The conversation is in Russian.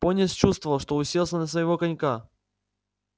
пониетс чувствовал что уселся на своего конька